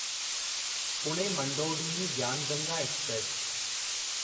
Pune Manduadih Gyan Ganga express